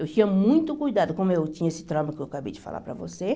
Eu tinha muito cuidado, como eu tinha esse trauma que eu acabei de falar para você.